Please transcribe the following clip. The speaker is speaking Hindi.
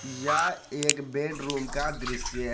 यह एक बेडरूम का दृश्य है।